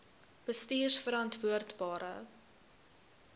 bestuurverantwoordbare